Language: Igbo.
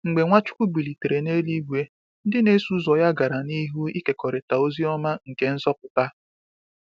Mgbe Nwachukwu bilitere n’eluigwe, ndị na-eso ụzọ ya gara n’ihu ịkekọrịta ozi ọma nke nzọpụta.